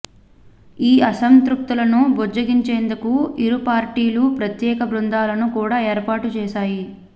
ఈ అసంతృప్తులను బుజ్జగించేందుకు ఇరు పార్టీలు ప్రత్యేక బృందాలను కూడా ఏర్పాటు చేశాయి